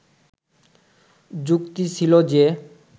যুক্তি ছিল যে